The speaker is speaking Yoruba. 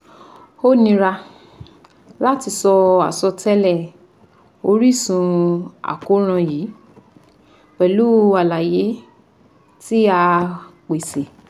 O nira lati sọ asọtẹlẹ orisun akoran yii pẹlu alaye ti a a pese